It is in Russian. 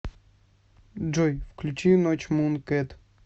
джой включи ночь мункэт